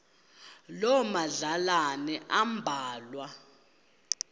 loo madlalana ambalwa